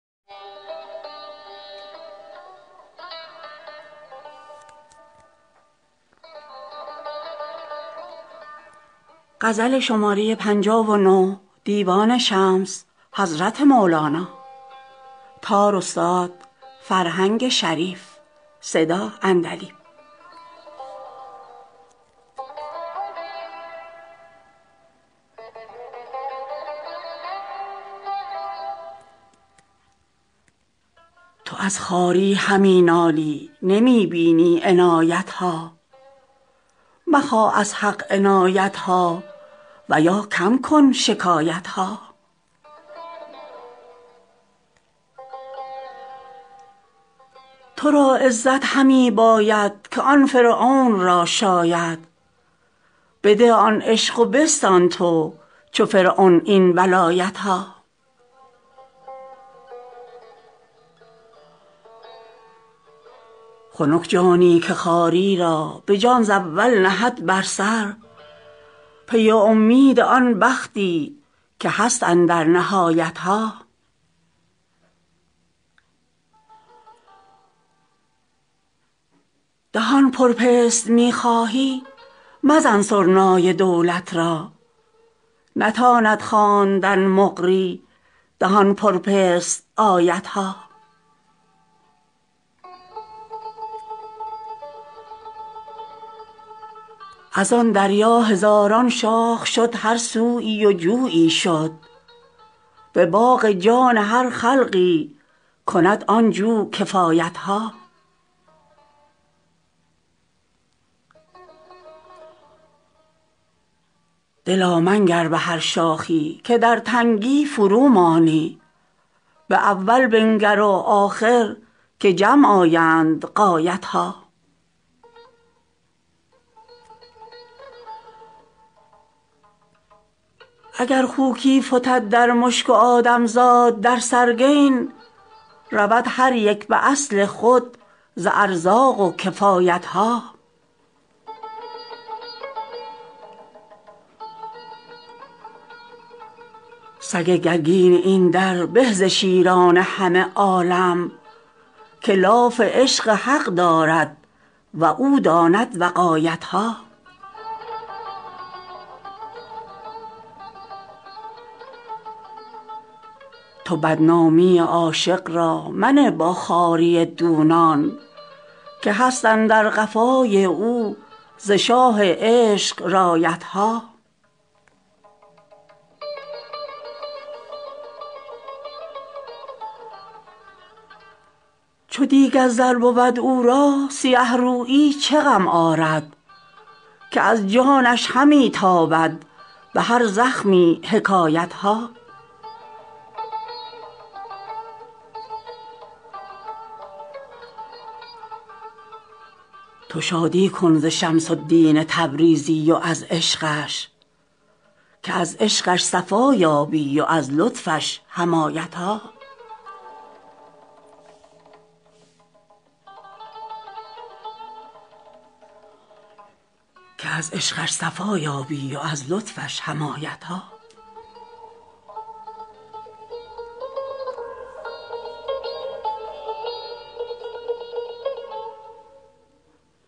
تو از خواری همی نالی نمی بینی عنایت ها مخواه از حق عنایت ها و یا کم کن شکایت ها تو را عزت همی باید که آن فرعون را شاید بده آن عشق و بستان تو چو فرعون این ولایت ها خنک جانی که خواری را به جان ز اول نهد بر سر پی اومید آن بختی که هست اندر نهایت ها دهان پر پست می خواهی مزن سرنای دولت را نتاند خواندن مقری دهان پر پست آیت ها از آن دریا هزاران شاخ شد هر سوی و جویی شد به باغ جان هر خلقی کند آن جو کفایت ها دلا منگر به هر شاخی که در تنگی فرومانی به اول بنگر و آخر که جمع آیند غایت ها اگر خوکی فتد در مشک و آدم زاد در سرگین رود هر یک به اصل خود ز ارزاق و کفایت ها سگ گرگین این در به ز شیران همه عالم که لاف عشق حق دارد و او داند وقایت ها تو بدنامی عاشق را منه با خواری دونان که هست اندر قفای او ز شاه عشق رایت ها چو دیگ از زر بود او را سیه رویی چه غم آرد که از جانش همی تابد به هر زخمی حکایت ها تو شادی کن ز شمس الدین تبریزی و از عشقش که از عشقش صفا یابی و از لطفش حمایت ها